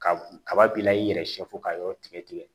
Ka kaba b'i la i yɛrɛ siyɛ fɔ ka yɔrɔ tigɛ tigɛ